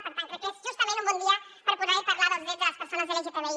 per tant crec que és justament un bon dia per poder parlar dels drets de les persones lgtbi